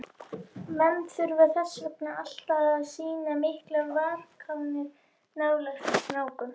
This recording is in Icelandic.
Menn þurfa þess vegna alltaf að sýna miklar varkárni nálægt snákum.